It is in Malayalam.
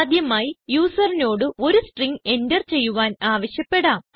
ആദ്യമായി യൂസറിനോട് ഒരു സ്ട്രിംഗ് എന്റർ ചെയ്യുവാൻ ആവശ്യപ്പെടാം